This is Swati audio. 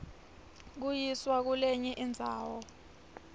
kuyiswa kulenye indzawo